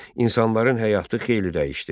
İnsanların həyatı xeyli dəyişdi.